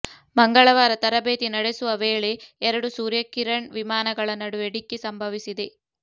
ಮಂಗಳವಾರ ತರಬೇತಿ ನಡೆಸುವ ವೇಳೆ ಎರಡು ಸೂರ್ಯ ಕಿರಣ್ ವಿಮಾನಗಳ ನಡುವೆ ಡಿಕ್ಕಿ ಸಂಭವಿಸಿದೆ